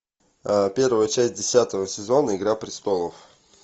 первая часть десятого сезона игра престолов